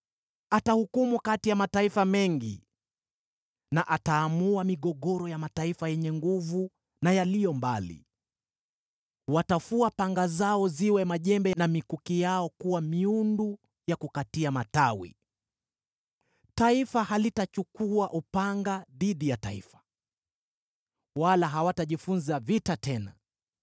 Atahukumu kati ya mataifa mengi, na ataamua migogoro ya mataifa yenye nguvu na yaliyo mbali. Watafua panga zao ziwe majembe, na mikuki yao kuwa miundu ya kukata matawi. Taifa halitainua upanga dhidi ya taifa jingine, wala hawatajifunza vita tena.